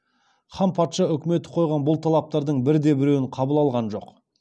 хан патша үкіметі қойған бұл талаптардың бірде біреуін қабыл алған жоқ